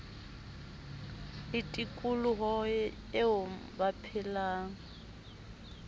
le tikoloho eo ba phelang